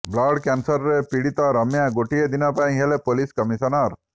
blood କ୍ୟାନସରରେ ପୀଡିତ ରାମ୍ୟା ଗୋଟିଏ ଦିନ ପାଇଁ ହେଲେ ପୋଲିସ କମିଶନର